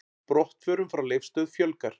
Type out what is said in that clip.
Brottförum frá Leifsstöð fjölgar